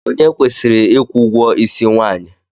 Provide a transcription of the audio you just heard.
Onye kwesịrị ịkwụ ụgwọisi nwaanyị?